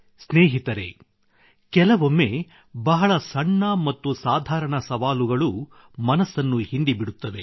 ಸ್ನೇಹಿತರೆ ಕೆಲವೊಮ್ಮೆ ಬಹಳ ಸಣ್ಣ ಮತ್ತು ಸಾಧಾರಣ ಸವಾಲುಗಳೂ ಮನಸ್ಸನ್ನು ಹಿಂಡಿಬಿಡುತ್ತವೆ